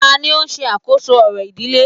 Tani o n se àkóso orò ìdílé